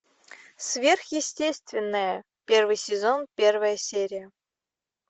сверхъестественное первый сезон первая серия